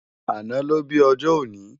Àná ló bi òjò óni